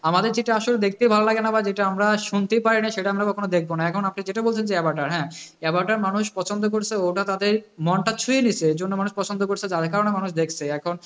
আমাদের যেটা আসলে দেখতে ভালো লাগে না বা যেটা আমরা শুনতে পারি না, সেটা আমরা আমরা কখনও দেখবো না, এখন আপনি যেটা বলছেন যে হ্যাঁ অবতার, অবতার মানুষ পছন্দ করছে, ওটা তাদের মনটা তাদের ছুঁয়ে নিয়েছে এর জন্যে মানুষ পছন্দ করছে, যার কারণে মানুষ দেখছে